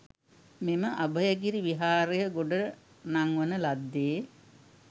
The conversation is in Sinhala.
මෙම අභයගිරි විහාරය ගොඩ නංවන ලද්දේ